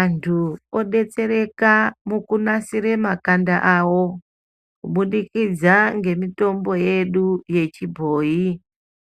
Antu odetsereka mukunasire makanda avo kubudikidza ngemitombo yedu yechibhoyi